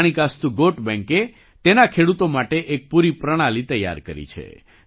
માણિકાસ્તુ ગૉટ બૅંકે તેના ખેડૂતો માટે એક પૂરી પ્રણાલિ તૈયાર કરી છે